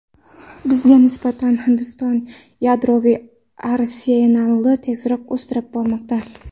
Bizga nisbatan Hindiston yadroviy arsenalini tezroq o‘stirib bormoqda.